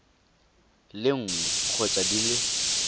le nngwe kgotsa di le